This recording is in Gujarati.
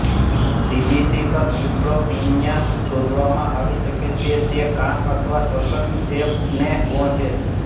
સીબીસી પર ન્યૂટ્રોપિનિયા શોધવામાં આવી શકે છે તે કાન અથવા શ્વસન ચેપને ગૌણ છે